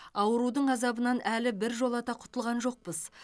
аурудың азабынан әлі біржолата құтылған жоқпыз